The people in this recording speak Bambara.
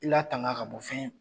Iatanga ka bɔ fɛn